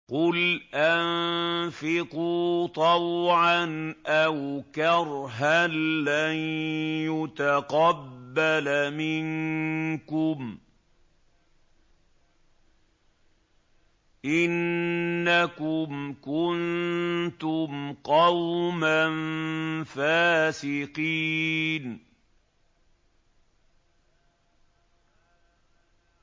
قُلْ أَنفِقُوا طَوْعًا أَوْ كَرْهًا لَّن يُتَقَبَّلَ مِنكُمْ ۖ إِنَّكُمْ كُنتُمْ قَوْمًا فَاسِقِينَ